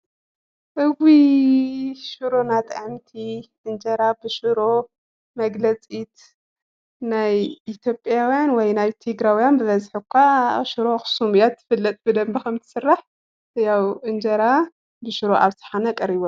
እውይ ሽሮና ጥዕምቲ! እንጀራ ብሽሮ መግለፂት ናይ ኢትዮጵያውያን ወይ ናይ ትግራውያን ብበዝሒ እኳ ሽሮ ኣኽሱም እያ ትፍለጥ ብደንቢ ከምትስራሕ፡፡ ያው እንጀራ ብሽሮ ኣብ ሸሓነ ቀሪቡ ኣሎ፡፡